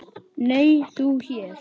Nei, þú hér?